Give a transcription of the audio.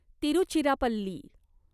Tiruchirappalli